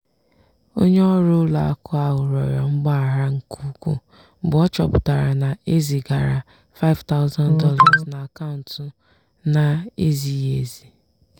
onye ọrụ ụlọ akụ ahụ rịọrọ mgbaghara nke ukwuu mgbe ọ chọpụtara na e zigara $5000 n'akaụntụ na-ezighị ezi.